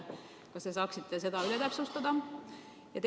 Kas te saaksite seda täpsustada?